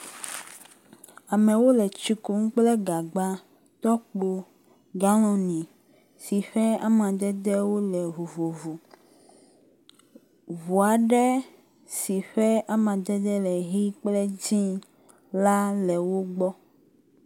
Amewo le tsi kum kple gagba, tɔkpo galɔni si ƒe amadedewo le vovovo. Ŋu aɖe si ƒe amadede le ʋi kple dzi la le wo gbɔ.